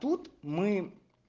тут мы